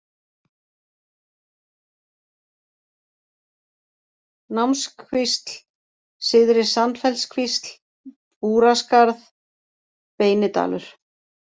Námskvísl, Syðri-Sandfellskvísl, Búraskarð, Beinidalur